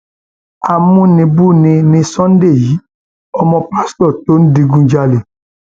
amúnibùbí ni sunday yìí ọmọ pásítọ tó ń digunjalè